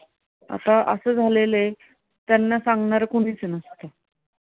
आता असं झालेलं आहे त्यांना सांगणार कुणीच नसतं